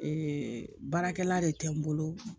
baarakɛla de tɛ n bolo